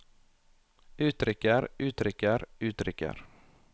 uttrykker uttrykker uttrykker